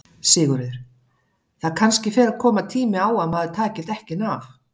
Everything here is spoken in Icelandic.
Sigurður: Það kannski fer að koma tími á að maður taki dekkin af?